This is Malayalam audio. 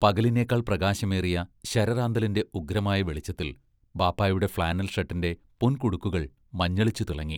പകലിനേക്കാൾ പ്രകാശമേറിയ ശരറാന്തലിന്റെ ഉഗ്രമായ വെളിച്ചത്തിൽ ബാപ്പാ യുടെ ഫ്ലാനൽ ഷർട്ടിന്റെ പൊൻകുടുക്കുകൾ മഞ്ഞളിച്ചു തിളങ്ങി.